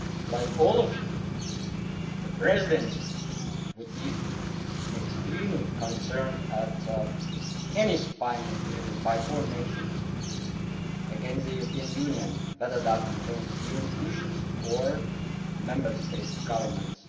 Like all of you, the Presidency would be extremely concerned at any spying activities by foreign nations against the European Union, whether that concerns EU institutions or Member State governments.